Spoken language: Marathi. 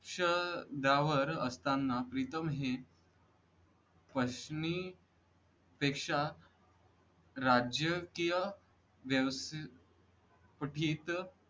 श वर असताना प्रीतम हे पशनी पेक्षा राजकीय व्यवस्थितीत